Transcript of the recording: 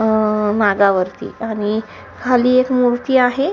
अह मागावरती आणि खाली एक मूर्ती आहे.